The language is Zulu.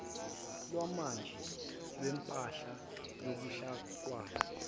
lwamanje lwempahla yobuhlakani